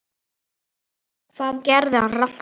Hvað gerði hann rangt þar?